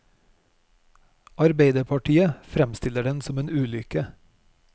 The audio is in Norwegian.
Arbeiderpartiet fremstiller den som en ulykke.